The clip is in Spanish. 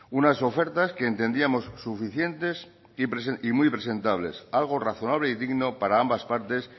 unas ofertas que entendíamos suficientes y muy presentables algo razonable y digno para ambas partes